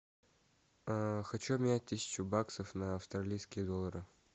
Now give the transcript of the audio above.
хочу обменять тысячу баксов на австралийские доллары